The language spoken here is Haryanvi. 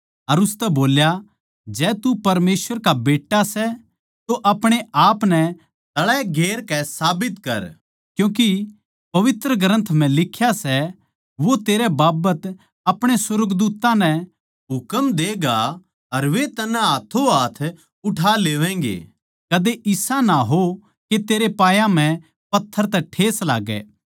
अर उसतै बोल्या जै तू परमेसवर का बेट्टा सै तो अपणे आपनै तळै गेर कै साबित कर क्यूँके पवित्र ग्रन्थ म्ह लिख्या सै वो तेरै बाबत अपणे सुर्गदूत्तां नै हुकम देगा अर वे तन्नै हाथों हाथ उठा लेवैगें कदे इसा ना हो के तेरे पांयां म्ह पत्थर तै ठेस लाग्गै